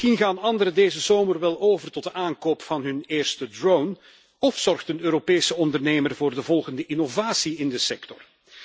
Misschien gaan anderen deze zomer wel over tot de aankoop van hun eerste drone of zorgt een Europese ondernemer voor de volgende innovatie in de sector.